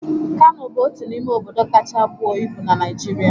Kano bụ otu n'ime obodo kacha bụo ibu na Naịjirịa